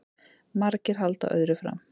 Margir halda öðru fram